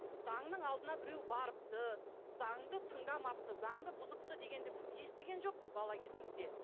заңның алдына біреу барыпты заңды тыңдамапты заңды бұзыпты дегенді біз естіген жоқпыз бала кезімізде